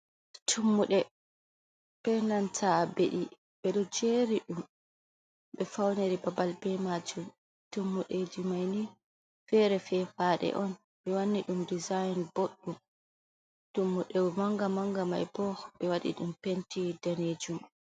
Tummuɗe bee nanta beɗi, ɓe ɗo jeeri ɗum ɓe fawniri babal bee maajum, Tummudeeji mai ni feere fefaaɗe on ɓe wanni ɗum dizainin boɗɗum, Tummuɗe mannga-mannga mai boo, ɓe waɗi ɗum penti daneejum.